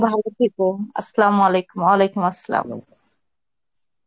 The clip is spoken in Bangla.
ভালো থেকো Arbi